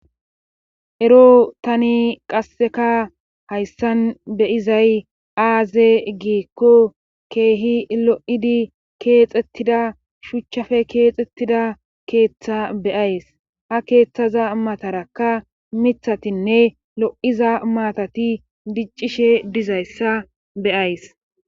ero tani qasseka hayssan beyizay aaze giikko keehi lo7idi keexettida shuchchafe keexettida keeththa beyays ha keeththaza matarakka mithatinne lo7iza maatati diccishe dizayssa beyays